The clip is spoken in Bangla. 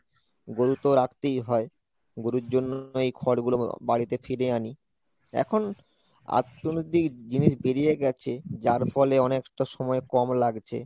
গরু তো রাখতেই হয় গরুর জন্য এই খড়গুলো বাড়িতে ফিরে আনি এখন জিনিস বেরিয়ে গেছে যার ফলে অনেকটা সময় কম লাগছে।